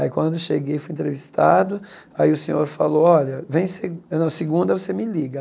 Aí quando eu cheguei, fui entrevistado, aí o senhor falou, olha, vem se não segunda você me liga.